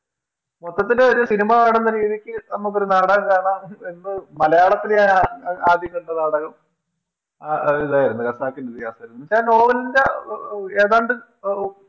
മൊത്തത്തിൽ ഒര് സിനിമാ കാണുന്ന രീതിക്ക് നമ്മക്കൊരു നാടകം കാണാം എന്ന് മലയാളത്തില് ഞാനാദ്യം കണ്ട നാടകം അഹ് അതിതായിരുന്നു ഖസാക്കിൻറെ ഇതിഹാസം ഇതാ നോവലിൻറെ ഏതാണ്ട് ആ ഓ